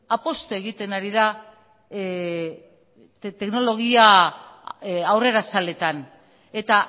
apustu egiten ari da teknologia aurrerazaletan eta